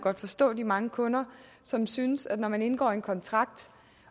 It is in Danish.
forstå de mange kunder som synes at når man indgår en kontrakt